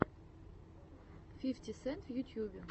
фифти сент в ютьюбе